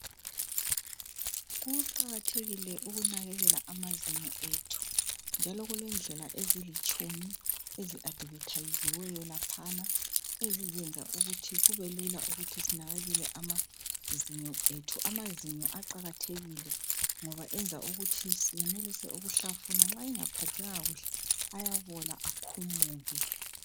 Kuqakathekile ukunakekela amazinyo ethi. Njalo kule ndlela ezilitshumi ezi advethaziweyo laphana ezizenza ukuthi kube lula ukuthi sinakekele amazinyo ethi. Amazinyo aqakathekile ngoba yenza ukuthi senelise ukuhlafuna. Nxa engaphathekanga kuhle ayabola akhumuke.